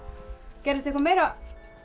gerðist eitthvað meira